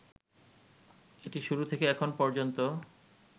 এটি শুরু থেকে এখন পর্যন্ত